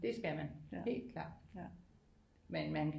Det skal man helt klart men man